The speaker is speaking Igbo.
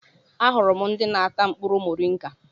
Ahụrụ m ndị na-ata mkpụrụ moringa.